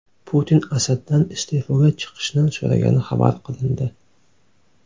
Putin Asaddan iste’foga chiqishni so‘ragani xabar qilindi .